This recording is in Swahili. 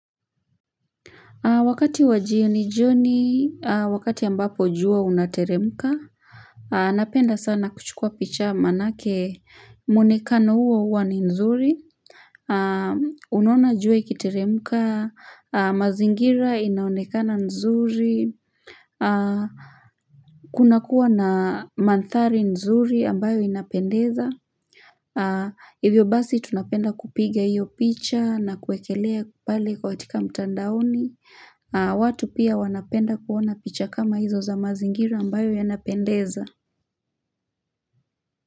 Wakati wa jioni jioni, wakati ambapo jua unateremka, napenda sana kuchukua picha maanake muonekano uo uo ni nzuri. Unaona jua ikiteremka, mazingira inaonekana nzuri, kunakuwa na mandhari nzuri ambayo inapendeza. Hivyo basi tunapenda kupiga hiyo picha na kuekelea pale katika mtandaoni watu pia wanapenda kuona picha kama hizo za mazingira ambayo yanapendeza.